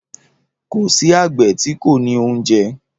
Kò sí àgbẹ̀ tí kò ní oúnjẹ.